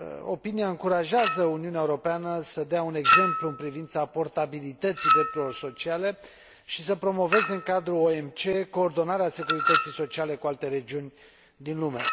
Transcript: Avizul încurajează Uniunea Europeană să dea un exemplu în privința portabilității drepturilor sociale și să promoveze în cadrul OMC coordonarea securității sociale cu alte regiuni din lume.